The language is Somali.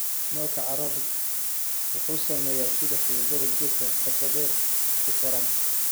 Moolka carradu wuxuu saameeyaa sida xididdada geedka qotodheer u koraan.